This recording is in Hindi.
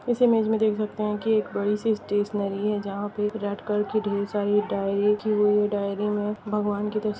इस इमेज में देख सकते है की एक बड़ी सी स्टेशनरी है जहां पे रेड कलर की ढेर सारी डायरी रखी हुई हैडायरी में भगवान की तस्वीर--